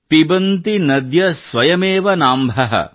ಪಿಬಂತಿ ನದ್ಯಃ ಸ್ವಯಮೇವ ನಾಂಭಃ